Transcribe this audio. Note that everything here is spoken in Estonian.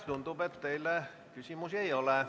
Tundub, et teile küsimusi ei ole.